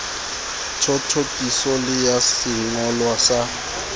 thothokiso le ya sengolwa sa